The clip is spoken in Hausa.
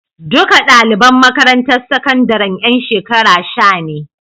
Duka ɗaliban makarantar sakandaren ƴan shekara sha ne.